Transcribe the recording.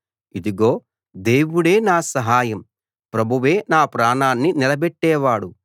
ఇదిగో దేవుడే నా సహాయం ప్రభువే నా ప్రాణాన్ని నిలబెట్టేవాడు